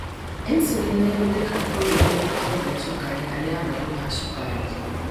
Insulin nĩ ĩhũthikaga kũnyihia ikĩro cia cukari harĩ arwaru a cukari.